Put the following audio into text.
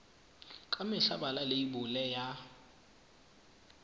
ka mehla bala leibole ya